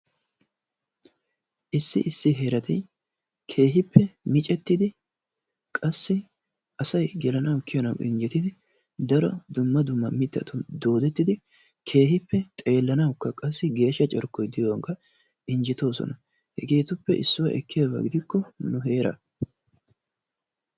Issi issi heerati keehiippe miccettidi qassi asay gelanawu kiyanawu injjettidi daro dumma duumma mitatun doodettidi keehiippe xeelanawukka qasi geeshsha carkkoy diyogankka keehiippe injjetoosona. Hegeetuppe issuwa ekkiyaabaa gidikko nu heeraa.